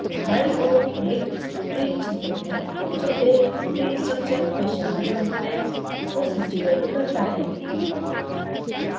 बाईं ओर एक tree क्षेत्र है जो एक tree structure में शामिल components को सूचीबद्ध करता है